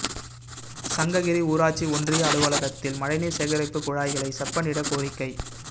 சங்ககிரி ஊராட்சி ஒன்றிய அலுவலகத்தில் மழைநீா் சேகரிப்பு குழாய்களை செப்பனிட கோரிக்கை